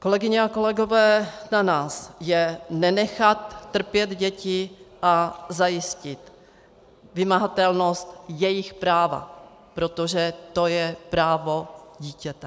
Kolegyně a kolegové, na nás je nenechat trpět děti a zajistit vymahatelnost jejich práva, protože to je právo dítěte.